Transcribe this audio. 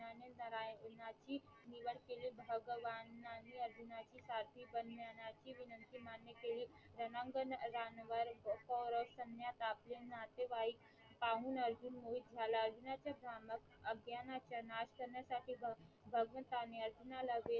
वान्न्यानाची विनंती मान्य केली रानांगांवर सवृषणांर आपले नातेवाईक पाहून अर्जुन मोहित झाला अर्जुनाच्या नामक अज्ञानसाठी भगवंताने अर्जुनाला वेध